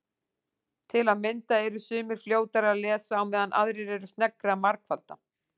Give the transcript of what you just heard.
Til að mynda eru sumir fljótari að lesa á meðan aðrir eru sneggri að margfalda.